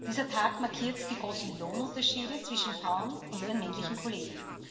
Dieser Tag markiert die großen Lohnunterschiede zwischen Frauen und ihren männlichen Kollegen.